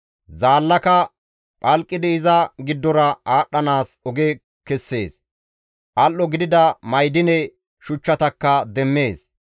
Zaallaka phalqidi iza giddora aadhdhanaas oge kessees; al7o gidida ma7idine shuchchatakka demmees.